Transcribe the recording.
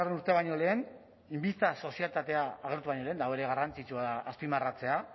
urtea baino lehen sozietatea agertu baino lehen eta hori garrantzitsua da azpimarratzea